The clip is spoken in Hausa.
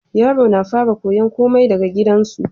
Yaro na fara koyan komai daka gidan su